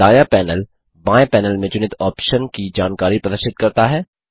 दायाँ पैनल बाएं पैनल में चुनित ऑप्शन की जानकारी प्रदर्शित करता है